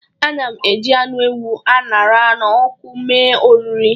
Ana m eji anụ ewu a ṅara n'ọkụ mee oriri